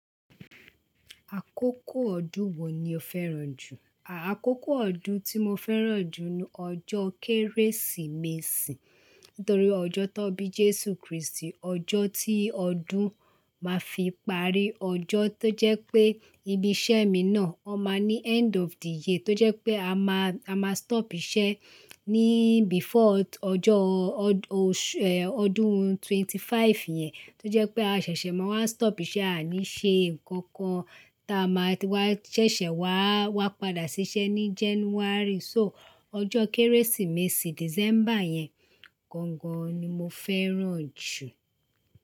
Àkókò ọdún wo ni o fẹ́ràn jù? Àkókò ọdún tí mo fẹ́ràn jù ni ọjọ́ Kérésìmesì. Nítorí ọjọ́ tó bí Jésù Kristi, ọjọ́ tí ọdún máa fi parí, ọjọ́ tó jẹ́ pé Ibi iṣẹ́ mi náà ó máa ní end of the year tó jẹ́ pé a máa, a máa stop iṣẹ́ ní before ọjọ́, ọdún twenty five yẹn tó jẹ́ pé a ṣẹ̀ṣẹ̀ máa wá stop iṣẹ́, a ní ṣe nǹkan kan tí a máa ti wá ṣẹ̀ṣẹ̀ wá, wá padà ṣiṣẹ́ ní January. So ọjọ́ Kérésìmesì December yẹn gangan ni mo fẹ́ràn jù.